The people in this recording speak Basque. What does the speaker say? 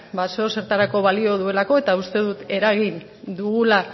ba zeozertarako balio duelako eta uste dut eragin dugula